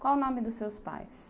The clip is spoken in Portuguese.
Qual o nome dos seus pais?